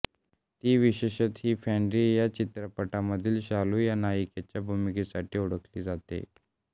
ती विशेषत ही फॅंड्री या चित्रपटामधील शालू या नायिकेच्या भूमिकेसाठी ओळखली जाते